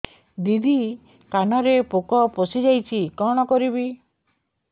ଦିଦି କାନରେ ପୋକ ପଶିଯାଇଛି କଣ କରିଵି